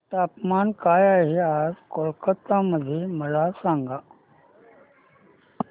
तापमान काय आहे आज कोलकाता मध्ये मला सांगा